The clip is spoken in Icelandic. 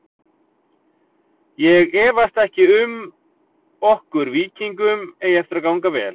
Ég efast ekki um okkur Víkingum eigi eftir að ganga vel.